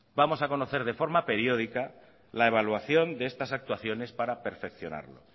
vamos a conocer de forma periódica la evaluación de estas actuaciones para perfeccionarlo